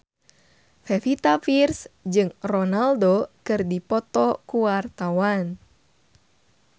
Pevita Pearce jeung Ronaldo keur dipoto ku wartawan